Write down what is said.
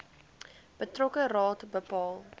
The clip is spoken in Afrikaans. betrokke raad bepaal